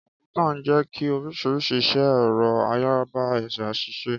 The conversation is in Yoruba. Kọ̀m̀pútà ń jẹ́ kí oríṣiríṣi iṣẹ́ ẹ̀rọ ayárabíàṣá ṣiṣẹ́.